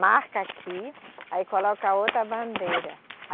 Marca aqui, aí coloca outra bandeira.